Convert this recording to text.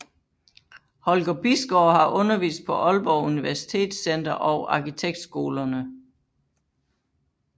Holger Bisgaard har undervist på Aalborg Universitetscenter og arkitektskolerne